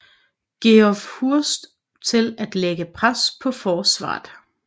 Geoff Hurst til at lægge pres på forsvaret